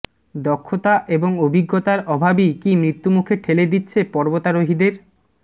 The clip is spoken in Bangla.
দক্ষতা এবং অভিজ্ঞতার অভাবই কি মৃত্যুমুখে ঠেলে দিচ্ছে পর্বতারোহীদের